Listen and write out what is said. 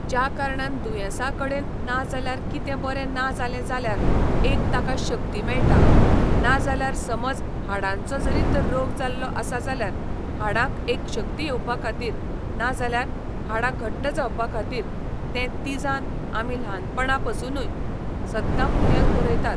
ज्या कारणान दुयेंसा कडेन ना जाल्यार कितें बरें ना जालें जाल्यार एक ताका शक्ती मेळटा, ना जाल्यार समज हाडांचो जरी तर रोग जाल्लो आसा जाल्यार हाडांक एक शक्ती येवपा खातीर ना जाल्यार हाडां घट्ट जावपा खातीर तें तिझान आमी ल्हाणपणा पसुनूय सद्दां भुरग्यांक भरयतात.